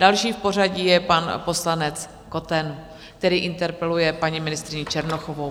Další v pořadí je pan poslanec Koten, který interpeluje paní ministryni Černochovou.